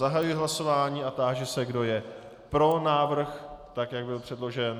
Zahajuji hlasování a táži se, kdo je pro návrh tak, jak byl předložen.